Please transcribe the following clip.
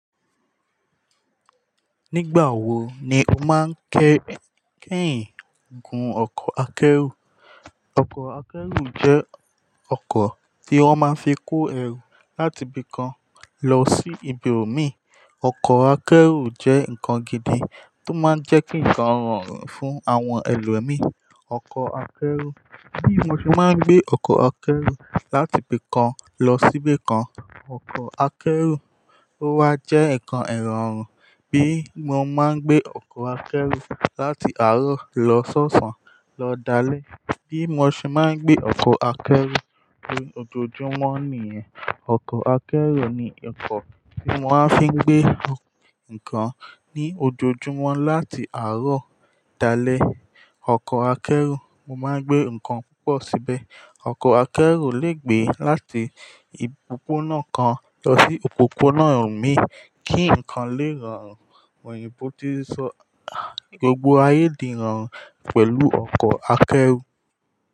Nígbà wo ni o máa ń ké, kéhìn gun ọkọ̀ akẹ́rù? Ọkọ̀ akẹ́rù jẹ́ ọkọ̀ tí wọ́n máa ń fi kó ẹrù láti ibi kan lọ sí ibòmíràn. Ọkọ̀ akẹ́rù jẹ́ nǹkan gidi tó máa ń jẹ́ kí ǹkan rọrùn fún àwọn ẹlòmíràn. Ọkọ̀ akẹ́rù, bí mo ṣe máa ń gbé ọkọ̀ akẹ́rù láti ibi kan lọ sí ibi kan. Ọkọ̀ akẹ́rù, ó wa jẹ́ ǹkan ìrọ̀rùn bí mo máa ń gbé ọkọ̀ akẹ́rù láti àárọ̀ lọ sóṣàn lọ dalẹ́. Bí mo ṣe máa ń gbé ọkọ̀ akẹ́rù ní ojoojúmọ́ nìyẹn. Ọkọ̀ akẹ́rù ni ọkọ̀ tí wọ́n á fi ń gbé ǹkan ní ojoojúmọ́ láti àárọ̀ dalẹ́. Ọkọ̀ akẹ́rù, mo máa ń gbé ǹkan púpọ̀ síbẹ̀. Ọkọ̀ akẹ́rù le gbé láti òpópónà náà kan lọ sí òpópónà mi kí ǹkan lè rọrùn. Òyìnbó tí sọ, "Gbogbo ayé di rọrùn pẹ̀lú ọkọ̀ akẹ́rù."